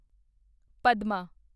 Padma